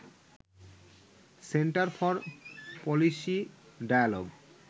centre for policy dialogue